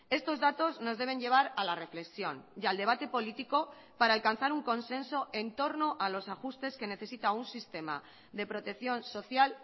estos datos nos deben llevar a la reflexión y al debate político para alcanzar un consenso en torno a los ajustes que necesita un sistema de protección social